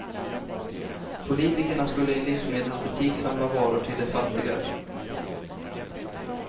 Politikerna skulle i en livsmedelsbutik samla varor till de fattiga.